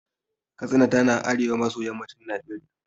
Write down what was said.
Katsina tana arewa maso yammacin Najeriya.